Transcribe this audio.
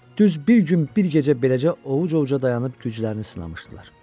Düz bir gün bir gecə beləcə ovuc-ovuca dayanıb güclərini sınamışdılar.